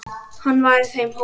Hann var í þeim hópi.